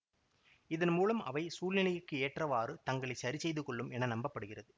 இதன் மூலம் அவை சூழ்நிலைக்கு ஏற்றவாறு தங்களை சரிசெய்து கொள்ளும் என நம்ப படுகிறது